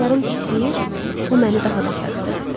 Barmaqlarım titrəyir, bu məni daha da karıxdırırdı.